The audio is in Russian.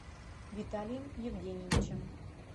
виталием евгеньевичем